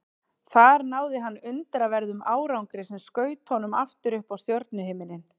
Þar náði hann undraverðum árangri sem skaut honum aftur upp á stjörnuhimininn.